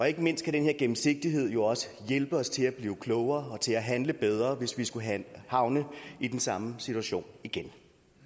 ikke mindst kan den her gennemsigtighed jo også hjælpe os til at blive klogere og til at handle bedre hvis vi skulle havne i den samme situation igen